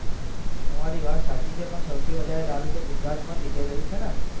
તમારી વાત સાચી છે પણ સૌથી વધારે દારૂ તો ગુજરાત માં જ વેચાઈ રહ્યો છે ને